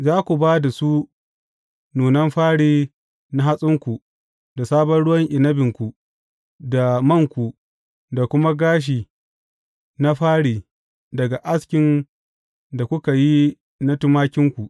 Za ku ba su nunan fari na hatsinku, da sabon ruwan inabinku, da manku, da kuma gashi na fari daga askin da kuka yi na tumakinku.